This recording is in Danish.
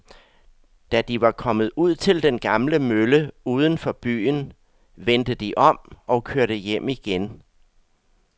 Da de var kommet ud til den gamle mølle uden for byen, vendte de om og kørte hjem igen.